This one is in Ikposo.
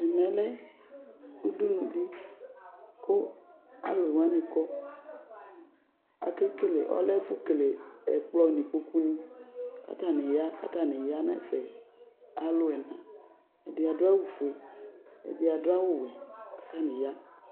ɛmɛ lɛ udunu di kʋ alʋwani kɔ Kekele, alɛ ɛfʋ kele ɛkplɔ n'ikpokuni k'atani ya, k'atani ya n'ɛfɛ, alʋ ɛna, ɛd adʋ awʋ fue, ɛdi adʋ awʋ wɛ, k'atani ya